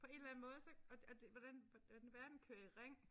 På en eller anden måde så og og det hvordan hvordan verden kører i ring